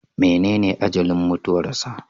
Menene ajalin mutuwarsa?